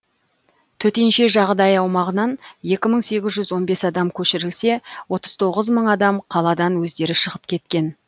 төтенше жағдай аумағынан екі мың сегіз жүз он бес адам көшірілсе отыз тоғыз мың адам қаладан өздері шығып кеткен